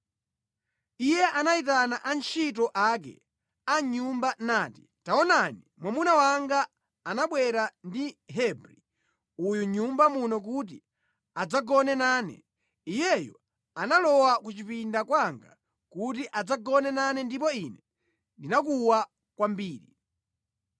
iye anayitana antchito ake a mʼnyumba nati, “Taonani mwamuna wanga anabwera ndi Mhebri uyu mʼnyumba muno kuti adzagone nane. Iyeyu analowa ku chipinda kwanga kuti adzagone nane ndipo ine ndinakuwa kwambiri.